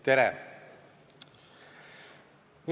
Tere!